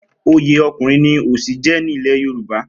Oyè Ọkùnrin ni Òsì jẹ́ ní ilẹ̀ Yorùbá.